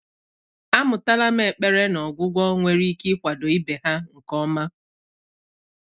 Àmụ́tàlà m ékpèré nà ọ́gwụ́gwọ́ nwéré íké ị́kwàdò íbé há nké ọ́mà.